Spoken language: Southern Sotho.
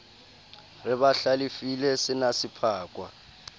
re ba hlalefile senase pakwa